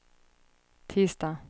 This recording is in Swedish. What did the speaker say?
tisdag